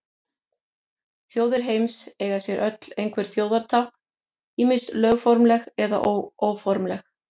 Þjóðir heims eiga sér öll einhver þjóðartákn, ýmist lögformleg eða óformleg.